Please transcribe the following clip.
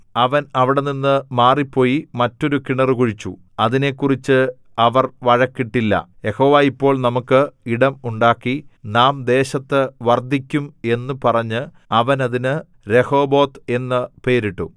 അവൻ അവിടെനിന്നു മാറിപ്പോയി മറ്റൊരു കിണറ് കുഴിച്ചു അതിനെക്കുറിച്ച് അവർ വഴക്കിട്ടില്ല യഹോവ ഇപ്പോൾ നമുക്ക് ഇടം ഉണ്ടാക്കി നാം ദേശത്തു വർദ്ധിക്കും എന്നു പറഞ്ഞു അവൻ അതിന് രെഹോബോത്ത് എന്നു പേരിട്ടു